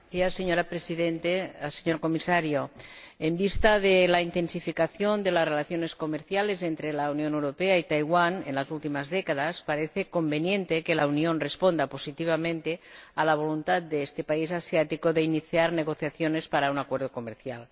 Señora Presidenta, señor Comisario, en vista de la intensificación de las relaciones comerciales entre la Unión Europea y Taiwán en las últimas décadas, parece conveniente que la Unión responda positivamente a la voluntad de este país asiático de iniciar negociaciones para un acuerdo comercial.